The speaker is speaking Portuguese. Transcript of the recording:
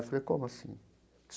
Eu falei, como assim?